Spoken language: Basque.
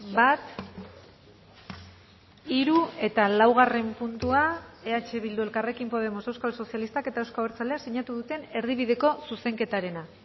bat hiru eta laugarren puntua eh bildu elkarrekin podemos euskal sozialistak eta euzko abertzaleak sinatu duten erdibideko zuzenketarena